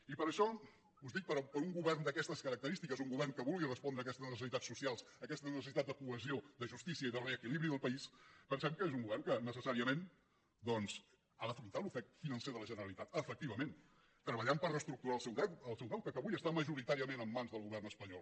i per això us dic que per un govern d’aquestes característiques un govern que vulgui respondre aquestes necessitats socials aquesta necessitat de cohesió de justícia i de reequilibri del país pensem que és un govern que necessàriament doncs ha d’afrontar l’ofec financer de la generalitat efectivament treballant per reestructurar el seu deute que avui està majoritàriament en mans del govern espanyol